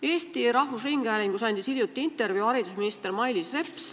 Eesti Rahvusringhäälingus andis hiljuti intervjuu haridusminister Mailis Reps.